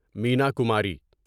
Meena Kumari